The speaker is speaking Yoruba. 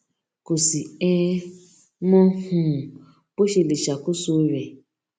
kó sì um mọ um bó ṣe lè ṣàkóso rè